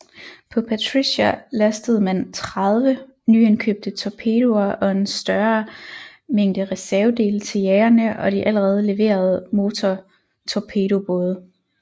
På Patricia lastede man 30 nyindkøbte torpedoer og en større mængde reservedele til jagerne og de allerede leverede motortorpedobåde